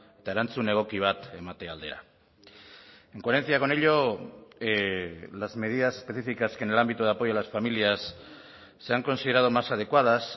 eta erantzun egoki bat emate aldera en coherencia con ello las medidas específicas que en el ámbito de apoyo a las familias se han considerado más adecuadas